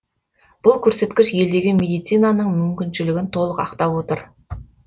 бұл көрсеткіш елдегі медицинаның мүмкіншілігін толық ақтап отыр